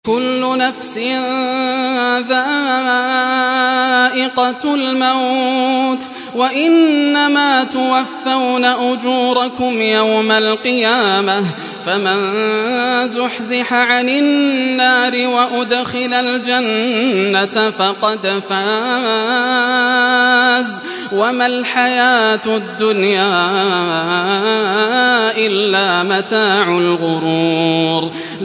كُلُّ نَفْسٍ ذَائِقَةُ الْمَوْتِ ۗ وَإِنَّمَا تُوَفَّوْنَ أُجُورَكُمْ يَوْمَ الْقِيَامَةِ ۖ فَمَن زُحْزِحَ عَنِ النَّارِ وَأُدْخِلَ الْجَنَّةَ فَقَدْ فَازَ ۗ وَمَا الْحَيَاةُ الدُّنْيَا إِلَّا مَتَاعُ الْغُرُورِ